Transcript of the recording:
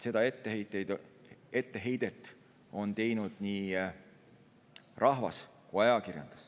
Seda etteheidet on teinud nii rahvas kui ka ajakirjandus.